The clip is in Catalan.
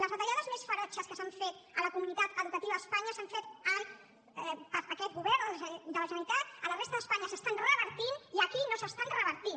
les retallades més ferotges que s’han fet a la comunitat educativa a espanya s’han fet per aquest govern de la generalitat a la resta d’espanya s’estan revertint i aquí no s’estan revertint